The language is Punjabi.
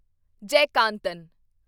ਜੈਕਾਂਤਨ